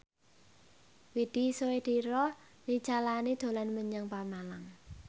Widy Soediro Nichlany dolan menyang Pemalang